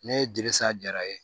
Ne ye dilisa jara ye